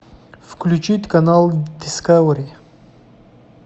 включить канал дискавери